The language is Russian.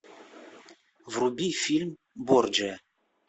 вруби фильм борджиа